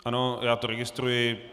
Ano, já to registruji.